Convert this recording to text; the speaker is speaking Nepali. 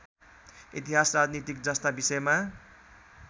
इतिहास राजनीतिजस्ता विषयमा